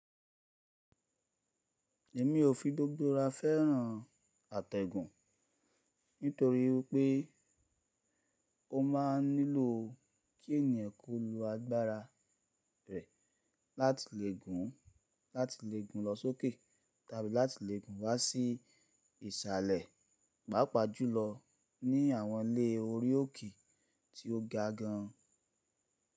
Èmi ò fi gbogbo ra fẹ́ràn àtẹ̀gùn, nítorí pé ó máa nílò kí ènìyàn kó lo agbára rẹ̀ láti lè. Láti lè gùn lọ sókè tàbí láti lè gùn wá sí ìsàlẹ̀, pàápàá jùlọ ní àwọn ilé orí òkè tí ó ga gan-an.